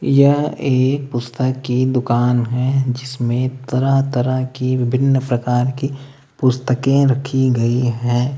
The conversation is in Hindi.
यह एक पुस्तक की दुकान है जिसमें तरह तरह की विभिन्न प्रकार की पुस्तकें रखी गई है।